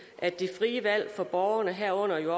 at det frie valg for borgerne herunder jo